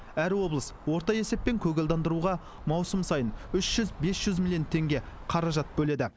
әр облыс орта есеппен көгалдандыруға маусым сайын үш жүз бес жүз миллион теңге қаражат бөледі